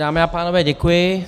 Dámy a pánové, děkuji.